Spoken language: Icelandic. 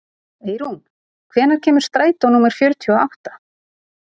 Eirún, hvenær kemur strætó númer fjörutíu og átta?